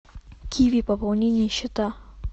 киви пополнение счета